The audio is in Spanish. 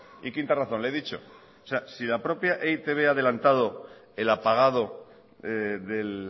y quinta razón le he dicho que si la propia e i te be ha adelantado el apagado del